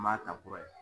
N b'a ta kura ye